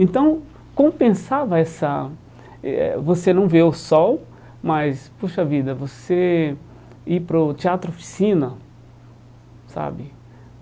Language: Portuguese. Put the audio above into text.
Então, compensava essa... eh você não vê o sol, mas, puxa vida, você ir para o Teatro Oficina, sabe?